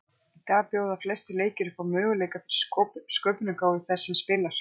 Í dag bjóða flestir leikir upp á möguleika fyrir sköpunargáfu þess sem spilar.